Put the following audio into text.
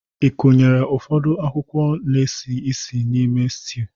Ị kụrie ụfọdụ akwụkwọ na-esi ísì n'ime sitew?